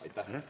Aitäh!